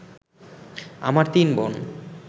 আমার তিন বোন